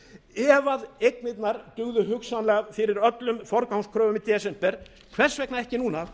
ef að eignirnar dugðu hugsanlega fyrir öllum forgangskröfum í desember hvers vegna ekki núna